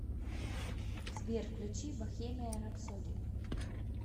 сбер включи бохемиан рапсоди